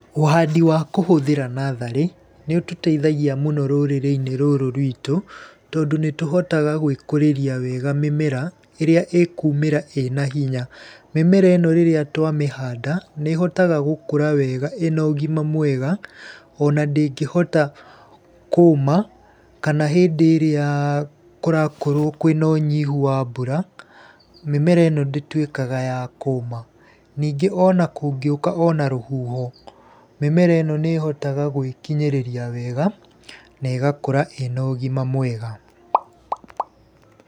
Ũhandi wa kũhũthĩra natharĩ, nĩ ũtũteithagia mũno rũrĩrĩ-inĩ rũrũ rwitũ tondũ nĩ tũhotaga gwĩkũrĩria wega mĩmera ĩrĩa ĩkuumĩra ĩna hinya. Mĩmera ĩno rĩrĩa twamĩhanda nĩ ĩhotaga gũkũra wega ĩna ũgima mwega, ona ndĩngĩhota kũũma kana hĩndĩ ĩria kũrakorwo kwĩna ũnyihu wa mbura, mĩmera ĩno ndĩtuĩkaga ya kũũma. Ningĩ ona kũngĩũka ona rũhuho, mĩmera ĩno nĩ ĩhota gwĩkinyĩrĩria wega na ĩgakũra ĩna ũgima mwega.